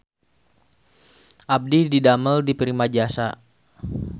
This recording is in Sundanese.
Abdi didamel di Primajasa